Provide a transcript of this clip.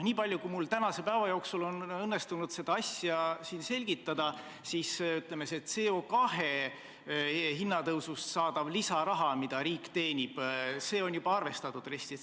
Nii palju, kui mul tänase päeva jooksul on õnnestunud seda asja selgitada, siis see CO2 kvoodi hinna tõusust saadav lisaraha, mida riik teenib, on juba arvestatud RES-i.